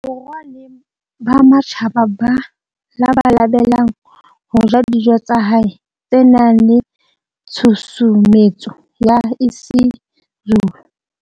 Borwa le ba matjhaba ba labalabelang ho ja dijo tsa hae tse nang le tshusumetso ya isiZulu.